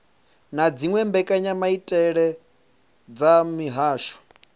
na dziwe mbekanyamaitele dza mihasho